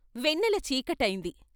వెన్నెల చీకటైంది.